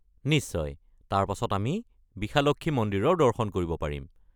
নিশ্চয়, তাৰ পাছত আমি বিশালক্ষী মন্দিৰৰ দৰ্শন কৰিব পাৰিম।